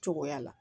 Cogoya la